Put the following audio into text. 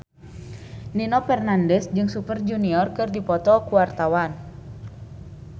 Nino Fernandez jeung Super Junior keur dipoto ku wartawan